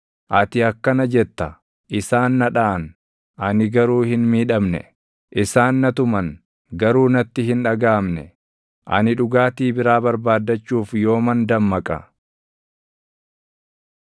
Ati akkana jetta; “Isaan na dhaʼan; ani garuu hin miidhamne! Isaan na tuman; garuu natti hin dhagaʼamne! Ani dhugaatii biraa barbaaddachuuf yooman dammaqa?”